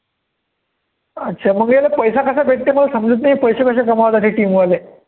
अच्छा मग याला पैसा कसा भेटते मला समजतं नाही, पैशे कसे कमवतात हे team वाले